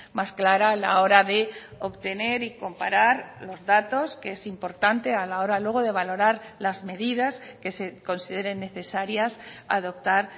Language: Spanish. más clara a la hora de obtener y comparar los datos que es importante a la hora luego de valorar las medidas que se consideren necesarias adoptar